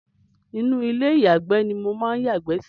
Inú ilé ìyàgbé ni mò ń yàgbẹ́ sí.